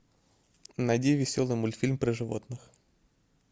найди веселый мультфильм про животных